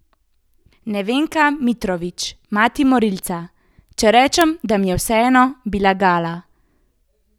Nevenka Mitrović, mati morilca: 'Če rečem, da mi je vseeno, bi lagala.